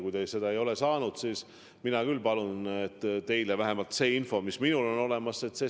Kui te seda ei ole saanud, siis ma palun, et teile saadetakse vähemalt see info, mis minul on olemas.